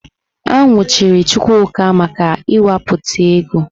A nwụchiri Chukwuka maka ịwapụta ego.